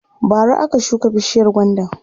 bara aka shuka bishiyar gwandan